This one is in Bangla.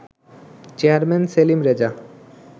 চেয়ারম্যান সেলিম রেজা